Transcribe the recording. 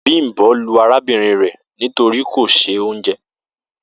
Bimbo lu arabinrin re nitori ko se.